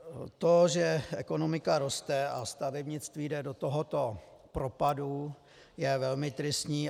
To, že ekonomika roste a stavebnictví jde do tohoto propadu, je velmi tristní.